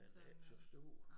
Den er ikke så stor